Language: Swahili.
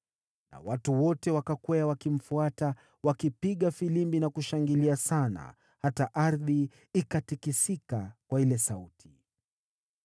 Na watu wote wakakwea wakimfuata, wakipiga filimbi na kushangilia sana, hata ardhi ikatikisika kwa ile sauti.